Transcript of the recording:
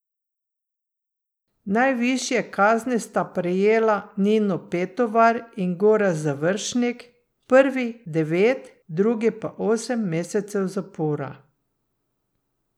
Najvišje kazni sta prejela Nino Petovar in Gorazd Završnik, prvi devet, drugi pa osem mesecev zapora.